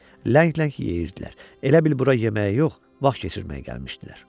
Ləng-ləng yeyirdilər, elə bil bura yeməyə yox, vaxt keçirməyə gəlmişdilər.